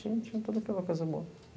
Tinha tudo aquela, coisa boa.